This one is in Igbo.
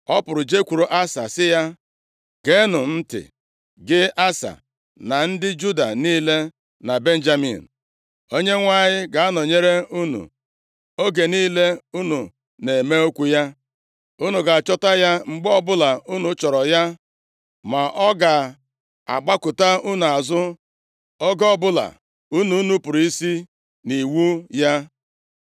Ọ pụrụ jekwuru Asa sị ya, “Geenụ m ntị, gị Asa na ndị Juda niile na Benjamin. Onyenwe anyị ga-anọnyere unu oge niile unu na-eme okwu ya. Unu ga-achọta ya mgbe ọbụla unu chọrọ ya. Ma ọ ga-agbakụta unu azụ oge ọbụla unu nupuru isi nʼiwu ya. + 15:2 Maọbụ, unu gbakụtara ya azụ